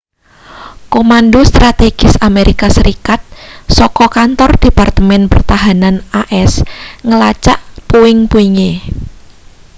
komando strategis amerika serikat saka kantor departemen pertahanan as ngelacak puing-puinge